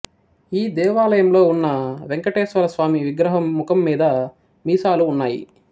ఈ దేవాలయంలో ఉన్న వేంకటేశ్వర స్వామి విగ్రహం ముఖం మీద మీసాలు ఉన్నాయి